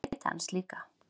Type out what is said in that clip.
Ég leita hans líka.